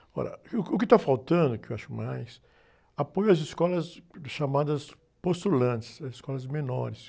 Agora, e, o que, o que está faltando, que eu acho mais, apoio às escolas chamadas postulantes, as escolas menores.